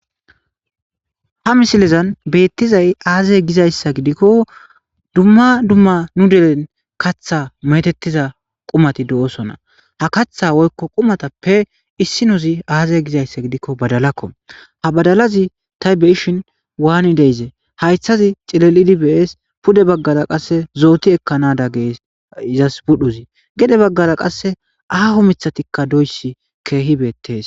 Ha misilezan beettizay aazay gizayssa gidikko dumma dumma nu delen katha metettiza qumati do7osona ha katha woykko qumatappe issi nuzi aazey gizayssa gidikko badalakko ha badalazi taybeshin waani deizee haythazi cilelidi bees pude baggara qasse zooti ekkanada gee izas budhuzi gede baggara qasse aaho mithatikka doysi keehi beettees.